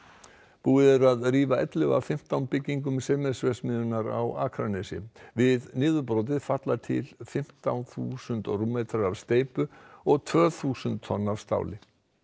búið er að rífa ellefu af fimmtán byggingum Sementsverksmiðjunnar á Akranesi við niðurbrotið falla til fimmtán þúsund rúmmetrar af steypu og tvö þúsund tonn af stáli